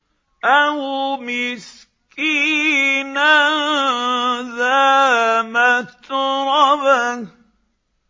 أَوْ مِسْكِينًا ذَا مَتْرَبَةٍ